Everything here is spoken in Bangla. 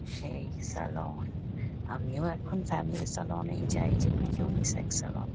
সেই সেলুন আমিও এখন ফ্যামিলি সেলুন -এই যাই যেগুলো উনিসেক্স সালোন --